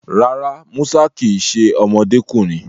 Rárá, Musa kì í ṣe ọmọdékùnrin